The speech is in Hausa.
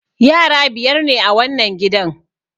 Yara biyar ne a wannan gidan.